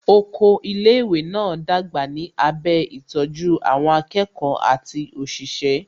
Oko ilé ìwé náà dàgbà ní abẹ́ ìtọ́jú àwọn akẹ́kọ̀ọ́ àti òṣìṣẹ́